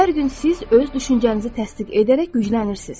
Hər gün siz öz düşüncənizi təsdiq edərək güclənirsiniz.